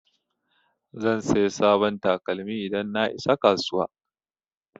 Zan saya sabon takalmi idan na isa kasuwa